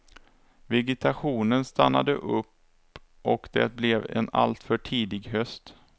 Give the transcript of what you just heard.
Vegetationen stannade upp och det blev en alltför tidig höst.